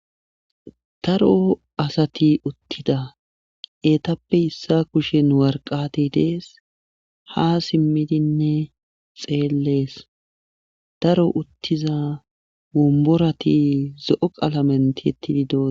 daro asati uttida eetappe issa kushen warqati dees ha simmidinne xeellees daro uttiza womborati zo7o qalamentietididoos